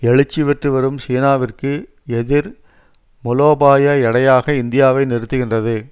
எழுச்சி பெற்று வரும் சீனாவிற்கு எதிர் முலோபாய எடையாக இந்தியாவை நிறுத்துகின்றது